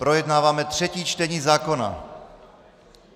Projednáváme třetí čtení zákona!